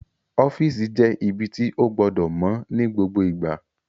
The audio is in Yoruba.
Ọ́fìsì jẹ́ ibi tí ó gbọdọ̀ mọ́ ní gbogbo ìgbà